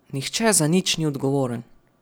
Nihče za nič ni odgovoren.